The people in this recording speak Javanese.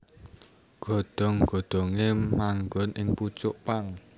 Godhong godhonge manggon ing pucuk pang